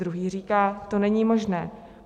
Druhý říká: to není možné.